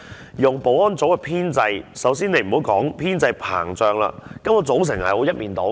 以物業及保安組的編制，首先不要說編制膨脹，根本組成是一面倒的。